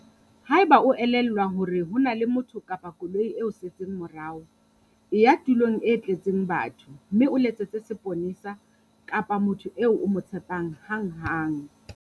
Haeba e o elellwa hore ho na le motho kapa koloi e o setseng morao, e ya tulong e tletseng batho mme o letsetse seponesa kapa motho eo o mo tshepang hanghang.